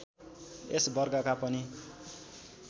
यस वर्गका पनि